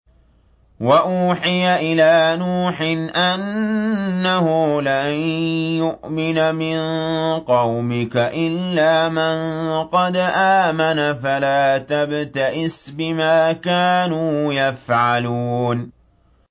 وَأُوحِيَ إِلَىٰ نُوحٍ أَنَّهُ لَن يُؤْمِنَ مِن قَوْمِكَ إِلَّا مَن قَدْ آمَنَ فَلَا تَبْتَئِسْ بِمَا كَانُوا يَفْعَلُونَ